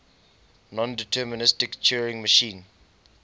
nondeterministic turing machine